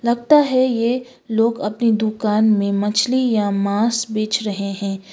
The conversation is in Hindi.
लगता है ये लोग अपनी दुकान में मछली या मांस बेच रहे हैं।